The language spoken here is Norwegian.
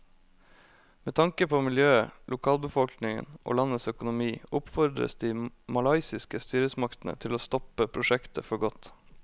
Med tanke på miljøet, lokalbefolkningen og landets økonomi oppfordres de malaysiske styresmaktene til å stoppe prosjektet for godt.